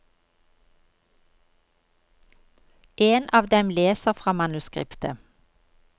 En av dem leser fra manuskriptet.